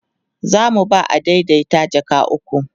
zamu ba adaidaita jaka ukwu